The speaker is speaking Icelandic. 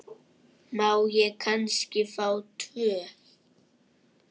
Má ég kannski fá tvö?